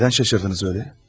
Nədən şaşırdınız elə?